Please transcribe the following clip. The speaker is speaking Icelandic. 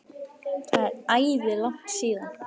Það er æði langt síðan.